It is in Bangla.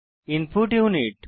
input unit